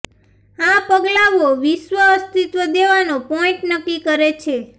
આ પગલાંઓ વિશ્વ અસ્તિત્વ દેવાનો પોઈન્ટ નક્કી કરે છે